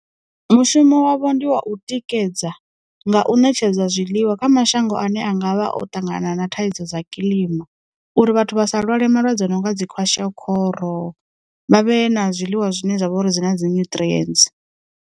Mushumo wavho ndi wa u tikedza nga u ṋetshedza zwiḽiwa kha mashango ane a ngavha o ṱangana na thaidzo dza kilima, uri vhathu vha sa lwale malwadze a no nga dzi kwashikoro, vha vhe na zwiḽiwa zwine zwavha uri dzi na dzi nyutrientsi.